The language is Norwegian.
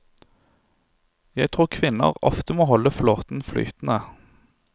Jeg tror kvinner ofte må holde flåten flytende.